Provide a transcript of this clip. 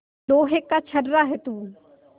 लोहा का छर्रा है तू